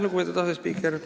Lugupeetud asespiiker!